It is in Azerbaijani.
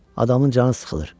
Adamın canı sıxılır.